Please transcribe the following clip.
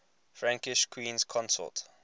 frankish queens consort